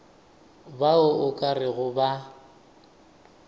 bao o ka rego ba